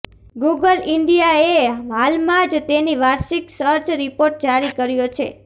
Google ઈન્ડિયાએ હાલમાં જ તેની વાર્ષિક સર્ચ રિપોર્ટ જારી કર્યો છે